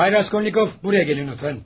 Bay Raskolnikov, buraya gəlin lütfən.